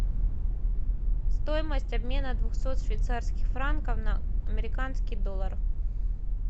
стоимость обмена двухсот швейцарских франков на американский доллар